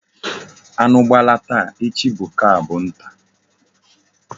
Anu gbala taa, echi bu ka bu nta